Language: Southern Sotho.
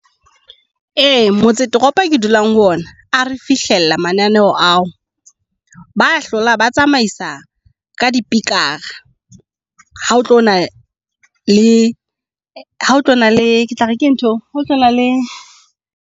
Ee motse toropo e ke dulang ho yona a re fihlella mananeho ao. Ba hlola ba tsamaisa ka dipikara. Ha o tlo na le hao otlalo na le ke tla re ke ntho eo hao tlona le.